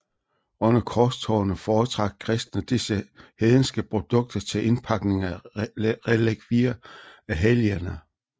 Under korstogene foretrak kristne disse hedenske produkter til indpakning af relikvier af helgener